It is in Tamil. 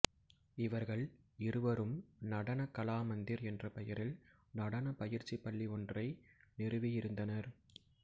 இவர்கள் இருவரும் நடன கலா மந்திர் என்ற பெயரில் நடனப் பயிற்சிப் பள்ளி ஒன்றை நிறுவியிருந்தனர்